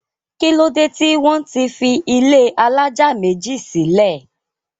kí ló dé tí wọ́n fi ilé alájà méjì sílẹ̀?